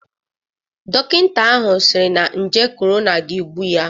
Dokinta ahụ siri na nje korona ga-egbu ya.